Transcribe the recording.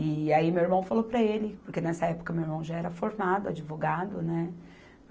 E aí meu irmão falou para ele, porque nessa época meu irmão já era formado, advogado, né?